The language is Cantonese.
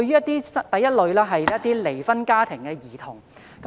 第一類是離婚家庭的兒童。